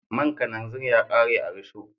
Man karanzir ya kare a rusho